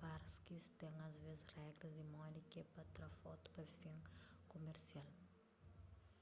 parkis ten asvês regras di modi ke pa tra fotu pa fin kumersial